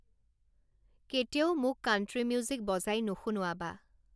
কেতিয়াও মোক country music বজাই নুশুনোৱাবা